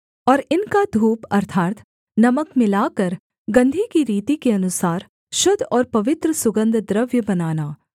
और इनका धूप अर्थात् नमक मिलाकर गंधी की रीति के अनुसार शुद्ध और पवित्र सुगन्धद्रव्य बनवाना